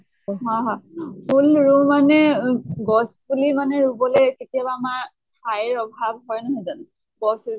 হয় হয় ফুল ৰোও মানে অ গছ পুলি মানে ৰোবলে কেতিয়ানা আমাৰ ঠাইৰ অভাৱ হয়, নহয় জানো? গছ